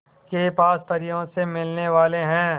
के पास परियों से मिलने वाले हैं